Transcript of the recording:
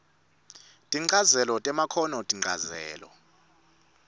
tinchazelo temakhono tinchazelo